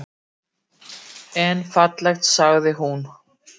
En fallegt, sagði hún.